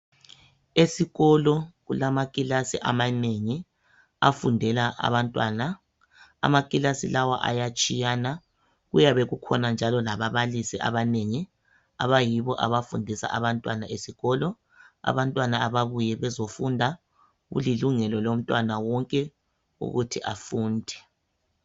Esikolo kulamakilasi amanengi afundela abantwana amakilasi lawa ayatshiyana kuyabe kukhona njalo lababalisi abanengi abayibo abafundisa abantwana esikolo abantwana ababuye bezofunda kulilungelo lomntwana wonke ukuthi afunde